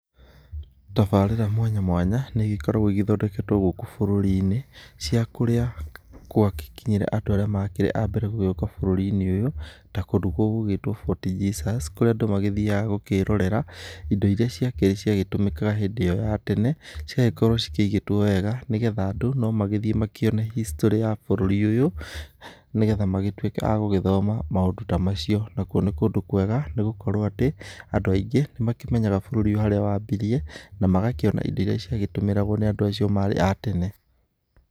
Tabarĩra mũanyamũanya nĩigĩkoragũo igĩthondeketũo gũkũ burũrinĩ, cĩa kũrĩa kwa gĩkinyire andu arĩa makĩrĩ abere gũgĩũka bũrũrinĩ ũyũ ,ta kũndũ gũgũgĩtũo Fort Jesus, kũrĩa andũ magĩthiaga gũkĩrorera, indo iria cĩake ciagĩtũmĩkaga hĩndĩ iyo ya tene ,cigagĩkorũo cikĩĩgĩtũo wega, nĩgetha andũ nomagĩthĩe makĩone history ya bũrũri ũyũ, nĩgetha magĩtũike agũgĩthoma maũndũ ta macĩo. Nakũo nĩ kũndũ kũega nĩgũkorũo atĩ andũ aingĩ nĩmakĩmenyaga bũrũri ũyũ harĩa wambirie, na magakĩona indo irĩa cĩagĩtũmĩragũo nĩ andũ acĩo marĩ a tene.